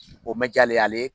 O mɛn jaa ale ye ale